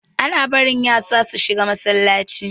Ana barin yasa su shiga Masallaci.